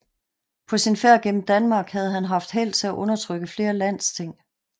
På sin færd gennem Danmark havde han haft held til at undertrykke flere landsting